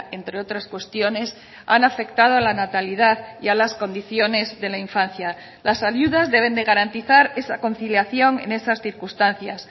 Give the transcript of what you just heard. entre otras cuestiones han afectado a la natalidad y a las condiciones de la infancia las ayudas deben de garantizar esa conciliación en esas circunstancias